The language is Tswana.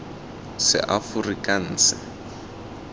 seaforikanse